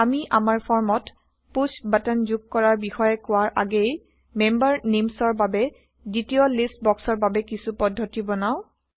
আমি আমাৰ ফৰ্মত পুশ্ব বাটন যোগ কৰাৰ বিষয়ে কোৱাৰ আগেয়ে মেম্বাৰ নেইমচৰ বাবে দ্বিতীয় লিষ্ট বক্সৰ বাবে কিছো পদ্ধতি বনাও